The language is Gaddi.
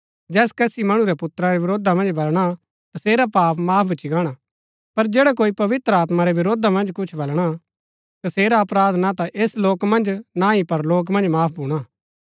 जैस कसी मणु रै पुत्रा रै वरोधा मन्ज बलणा तसेरा पाप माफ भूच्ची गाणा पर जैडा कोई पवित्र आत्मा रै वरोधा मन्ज कुछ बलणा तसेरा अपराध ना ता ऐस लोक मन्ज ना ही परलोक मन्ज माफ भूणा